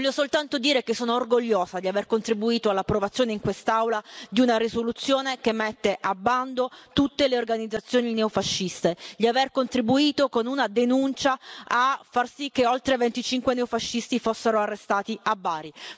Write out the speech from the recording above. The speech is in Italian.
Voglio soltanto dire che sono orgogliosa di aver contribuito all'approvazione, in quest'Aula, di una risoluzione che mette a bando tutte le organizzazioni neofasciste, di aver contribuito con una denuncia a far sì che oltre 25 neofascisti fossero arrestati a Bari.